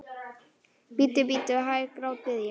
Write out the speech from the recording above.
Bíddu, bíddu hæg, grátbið ég.